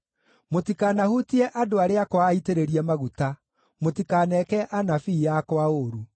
“Mũtikanahutie andũ arĩa akwa aitĩrĩrie maguta; mũtikaneke anabii akwa ũũru.”